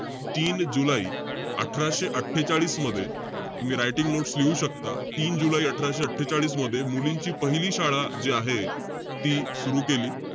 तीन जुलै अठराशे अट्ठेचाळीस मध्ये, तुम्ही writing notes लिहू शकता. तीन जुलै अठराशे अट्ठेचाळीसमध्ये मुलींची पहिली शाळा, जे आहे, ती सुरु केली.